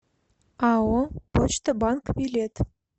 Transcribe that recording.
ао почта банк билет